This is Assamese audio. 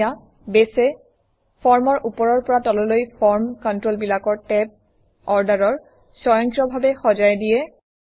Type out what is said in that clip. এতিয়া বেছে ফৰ্মৰ ওপৰৰ পৰা তললৈ ফৰ্ম কণ্ট্ৰলবিলাকৰ টেব অৰ্ডাৰ স্বয়ংক্ৰিয়ভাৱে সজাই দিয়ে